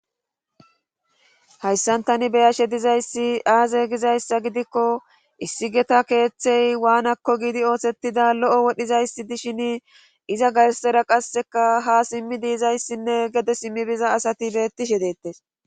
hayssantani beyashe dizayssi aaze gizayssa gidikko issi geta keeththey waanakko giidi oosettida lo7o wodhizayssi dishin iza garsera qasseka ha simmi diizayssinne gede simmibiza asati bettishe deettes